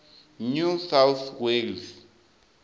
new south wales